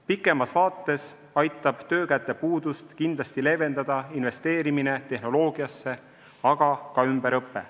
Kaugemas vaates aitab töökäte puudust kindlasti leevendada investeerimine tehnoloogiasse, aga ka ümberõpe.